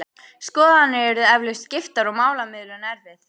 Skoðanir yrðu eflaust skiptar og málamiðlun erfið.